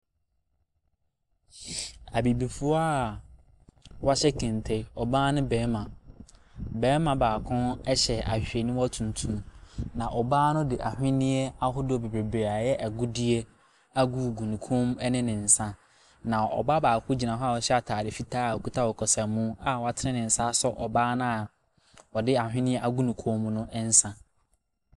Abibifoɔ wɔahyɛ kente; ɔbaa ne barima. Barima baako hyɛ ahwehwɛniwa tuntum. Na ɔbaa no de ahweneɛ ahodoɔ bebree ayɛ agudiɛ agug ne koom ne ne nsa. Na ɔbaa baako gyina hɔ a ɔhyɛ atade fitaa a oɔkita ɔkasamu a watene ne nsa asɔ ɔbaa no a ɔde anhweneɛ agu ne koom no.